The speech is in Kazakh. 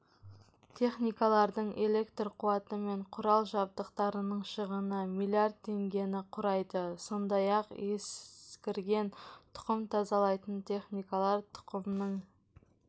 техникалардың электр қуаты мен құрал-жабдықтарынның шығыны млрд теңгені құрайды сондай-ақ ескірген тұқым тазалайтын техникалар тұқымның